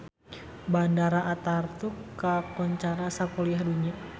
Bandara Ataturk kakoncara sakuliah dunya